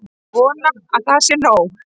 Vona að það sé nóg.